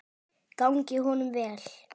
Gangi honum vel.